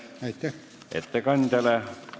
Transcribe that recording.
Aitäh ettekandjale!